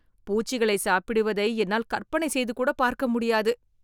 பூச்சிகளைச் சாப்பிடுவதை என்னால் கற்பனை செய்துகூட பார்க்க முடியாது